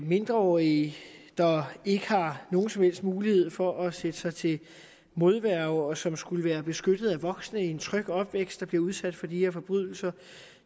mindreårige der ikke har nogen som helst mulighed for at sætte sig til modværge og som skulle være beskyttet af voksne i en tryg opvækst som bliver udsat for de her forbrydelser